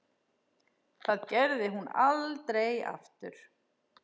Það gerði hún aldrei aftur.